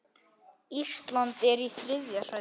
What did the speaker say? Ísland er í þriðja sæti.